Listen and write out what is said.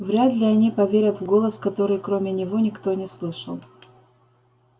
вряд ли они поверят в голос который кроме него никто не слышал